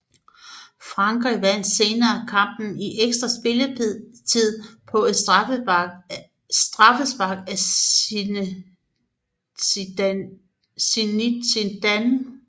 Frankrig vandt senere kampen i ekstra spilletid på et straffespark af Zinedine Zidane